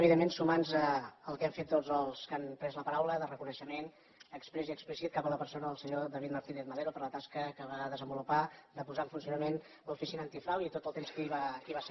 evidentment sumar nos al que han fet tots els que han pres la paraula de reconeixement exprés i explícit cap a la persona del senyor david martínez madero per la tasca que va desenvolupar de posar en funcionament l’oficina antifrau i tot el temps que hi va ser